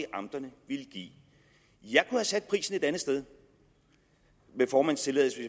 amterne ville give jeg kunne have sat prisen et andet sted med formandens tilladelse